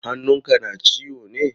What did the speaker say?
Hannun ka na ciwo ne?